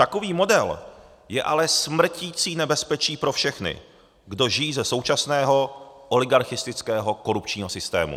Takový model je ale smrtící nebezpečí pro všechny, kdo žijí ze současného oligarchistického korupčního systému.